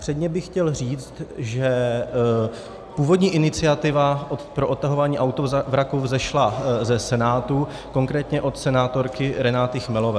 Předně bych chtěl říci, že původní iniciativa pro odtahování autovraků vzešla ze Senátu, konkrétně od senátorky Renaty Chmelové.